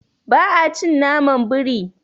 Ba a cin naman biri.